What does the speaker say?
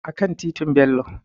A kan titin Bello